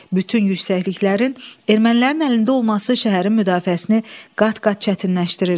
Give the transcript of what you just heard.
Bütün yüksəkliklərin ermənilərin əlində olması şəhərin müdafiəsini qat-qat çətinləşdirirdi.